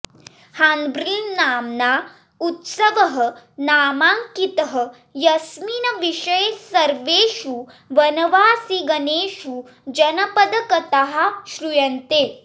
हार्न्बिल्नाम्ना उत्सवः नामाङ्कितः यस्मिन् विषये सर्वेषु वनवासिगणेषु जनपदकथाः श्रूयन्ते